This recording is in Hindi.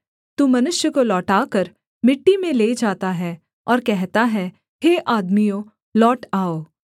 तू मनुष्य को लौटाकर मिट्टी में ले जाता है और कहता है हे आदमियों लौट आओ